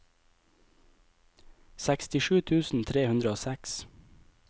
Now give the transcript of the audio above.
sekstisju tusen tre hundre og seks